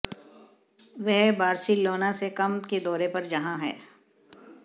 वह बार्सिलोना से कम के दौरे पर यहाँ है